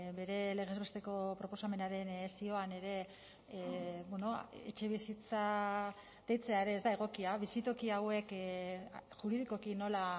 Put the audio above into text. bere legez besteko proposamenaren zioan ere etxebizitza deitzea ere ez da egokia bizitoki hauek juridikoki nola